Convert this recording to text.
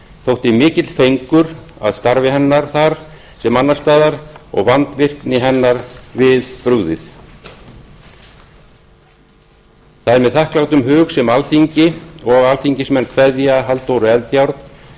þótti mikill fengur að starfi hennar þar sem annars staðar og vandvirkni hennar við brugðið það er með þakklátum hug sem alþingi og alþingismenn kveðja halldóru eldjárn